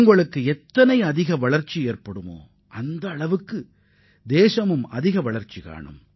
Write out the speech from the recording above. நீங்கள் வளர்ச்சியடைந்தால் இந்த நாடும் வளர்ச்சியடையும்